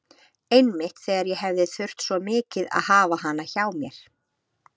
Einmitt þegar ég hefði þurft svo mikið að hafa hana hjá mér.